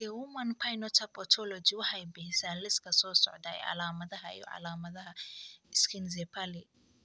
The Human Phenotype Ontology waxay bixisaa liiska soo socda ee calaamadaha iyo calaamadaha Schizencephaly.